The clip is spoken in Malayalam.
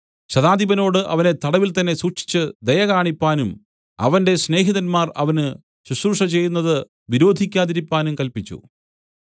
ശതാധിപനോട് അവനെ തടവിൽത്തന്നെ സൂക്ഷിച്ച് ദയകാണിപ്പാനും അവന്റെ സ്നേഹിതന്മാർ അവന് ശുശ്രൂഷ ചെയ്യുന്നത് വിരോധിക്കാതിരിപ്പാനും കല്പിച്ചു